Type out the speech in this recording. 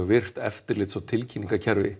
virkt eftirlits og